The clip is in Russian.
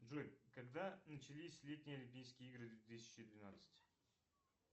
джой когда начались летние олимпийские игры две тысячи двенадцать